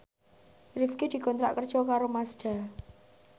Rifqi dikontrak kerja karo Mazda